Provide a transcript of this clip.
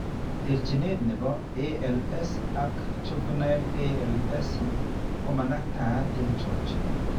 Terchinet nebo ALS ag , juvinile ALS komanaktaa en chakchinet